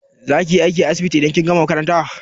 Za kiyi aiki a asibiti idan kin gama makaranta?